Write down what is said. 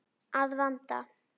Að vanda.